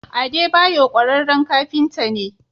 Adebayor ƙwararren kafinta ne.